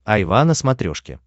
айва на смотрешке